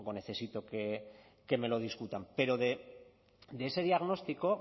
necesito que me lo discutan pero de ese diagnóstico